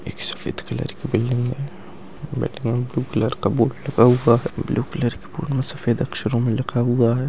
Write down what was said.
एक सफेद कलर की बिल्डिंग है कलर का बोर्ड लगा हुआ है ब्लू कलर के बोर्ड में सफेद अक्षरों मे लिखा हुआ है।